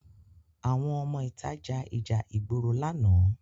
Àwọn ọmọ ìta ja ìjà ìgboro lánàá